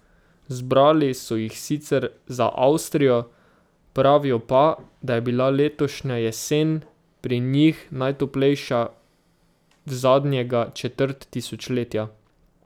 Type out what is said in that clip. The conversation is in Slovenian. Zbrali so jih sicer za Avstrijo, pravijo pa, da je bila letošnja jesen pri njih najtoplejša v zadnjega četrt tisočletja.